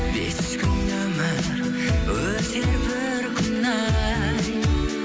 бес күн өмір өтер бір күні ай